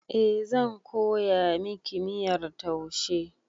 Eh, zan koya miki miyar taushe